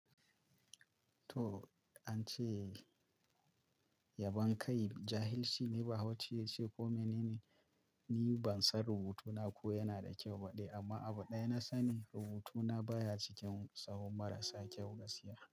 To, an ce yabon kai jahilci ne bahaushe yace ko menene? Ni ban san rubutuna ko yana da kyau ba ɗai amma abu ɗaya na sani rubutuna baya cikin tsahon marasa kyau gaskiya.